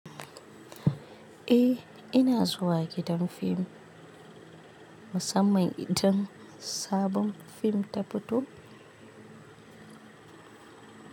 Eh ina zuwa gidan fim musamman idan sabon fim ta fito.